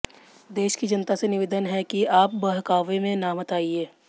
देश की जनता से निवेदन है कि आप बहकावे में मत आइए